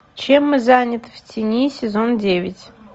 чем мы заняты в тени сезон девять